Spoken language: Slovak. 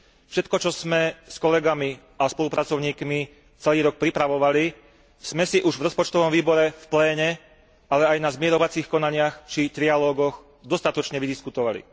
Všetko, čo sme s kolegami a spolupracovníkmi celý rok pripravovali, sme si už v rozpočtovom výbore, v pléne, ale aj na zmierovacích konaniach, či v trialógoch dostatočne vydiskutovali.